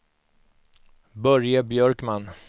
Börje Björkman